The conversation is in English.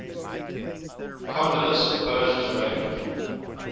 kondylis opposes raymond